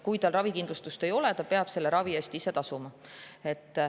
Kui tal ravikindlustust ei ole, peab ta ravi eest ise tasuma.